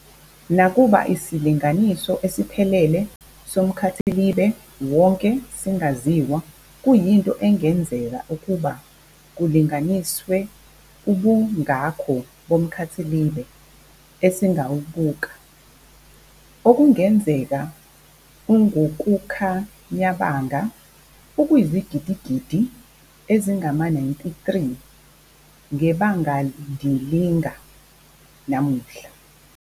Nakuba isilinganiso esiphelele somkhathilibe wonke singaziwa, kuyinto engenzeka ukuba kulinganiswe ubungako bomkhathilibe esingawubuka, okungenzeka ungukukhanyabanga okuyizigidigidi ezingama-93 ngebangandilinga namuhla.